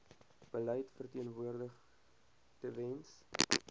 beleid verteenwoordig tewens